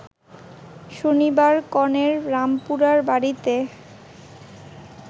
শনিবার কনের রামপুরার বাড়িতে